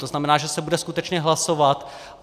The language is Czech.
To znamená, že se bude skutečně hlasovat.